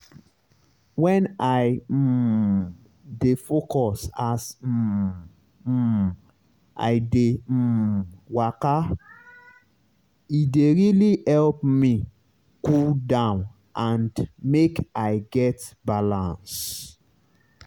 when i um dey focus as um um i dey um waka e dey really help me cool down and make i get balance.